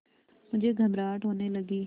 मुझे घबराहट होने लगी